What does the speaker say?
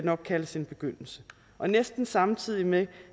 nok kaldes en begyndelse og næsten samtidig med